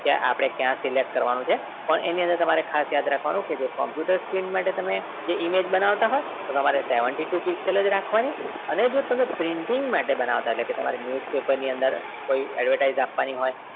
કે આપણે ક્યાં select કરવાનું છે એની અંદર તમારે ખાસ યાદ રાખવાનું છે કે જે computer screen જે image બનાવતા હોય તો તમારે seventy two pixel જ રાખવાની અને જો તમે printing માટે બનાવતા હોય એટલે કે તમારે newspaper ની અંદર કોઈ advertise આપવાની હોય